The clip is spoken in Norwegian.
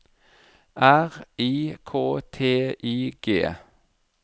R I K T I G